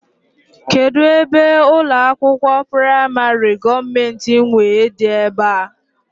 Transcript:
Kedụ ebe ụlọakwụkwọ praịmarị gọọmenti nwe dị ebe a?